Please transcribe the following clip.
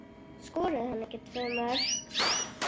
Skoraði hann ekki tvö mörk?